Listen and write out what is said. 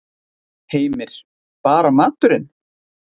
Heimir: Bara maturinn?